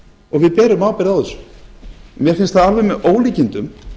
og við berum ábyrgð á þessu mér finnst það alveg með ólíkindum